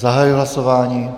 Zahajuji hlasování.